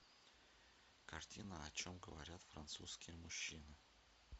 картина о чем говорят французские мужчины